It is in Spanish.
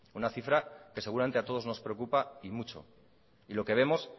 una cifra que seguramente a todos nos preocupa y mucho y lo que vemos